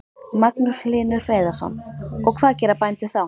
Magnús Hlynur Hreiðarsson: Og hvað gera bændur þá?